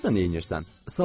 Sən burda neynirsən?